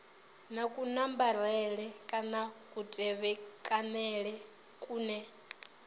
na kunambarele kana kutevhekanele kune